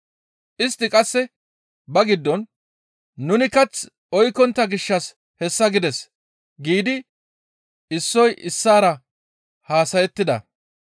Istti qasse ba giddon, «Nuni kath oykkontta gishshas hessa gides» giidi issoy issaara haasayettida.